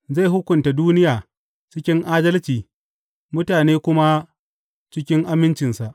Zai hukunta duniya cikin adalci mutane kuma cikin amincinsa.